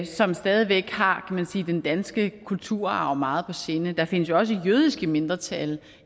som stadig væk har den danske kulturarv meget på sinde der findes jo også jødiske mindretal